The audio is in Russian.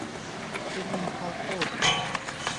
фильм михалкова